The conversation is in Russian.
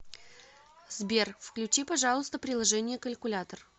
сбер включи пожалуйста приложение калькулятор